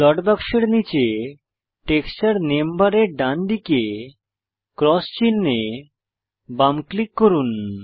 slot বাক্সের নীচে texture name বারের ডান দিকে ক্রস চিনহে বাম ক্লিক করুন